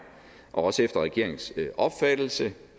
og også efter regeringens opfattelse